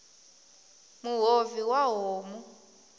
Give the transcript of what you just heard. muhovhi wa homu